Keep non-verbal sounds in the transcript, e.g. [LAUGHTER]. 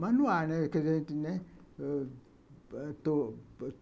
Manual, né? [UNINTELLIGIBLE]